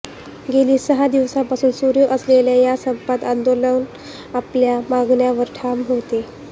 गेली सहा दिवसांपासून सुरु असलेल्या या संपात आंदोलक आपल्या मागण्यांवर ठाम होते